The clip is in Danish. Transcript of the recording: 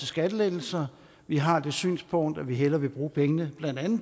skattelettelser vi har det synspunkt at vi hellere vil bruge pengene